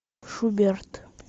шуберт